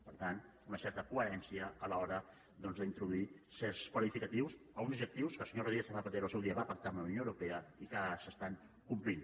per tant una certa coherència a l’hora d’introduir certs qualificatius a uns objectius que el senyor rodríguez zapatero al seu dia va pactar amb la unió europea i que ara s’estan complint